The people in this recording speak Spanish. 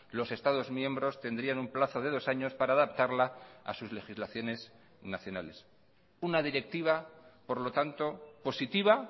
los estados miembros tendrían un plazo de dos años para adaptarla a sus legislaciones nacionales una directiva por lo tanto positiva